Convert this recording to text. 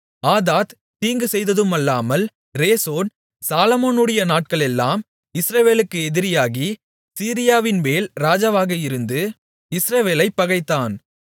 ஆதாத் தீங்கு செய்ததுமல்லாமல் ரேசோன் சாலொமோனுடைய நாட்களெல்லாம் இஸ்ரவேலர்களுக்கு எதிரியாகி சீரியாவின்மேல் ராஜாவாக இருந்து இஸ்ரவேலைப் பகைத்தான்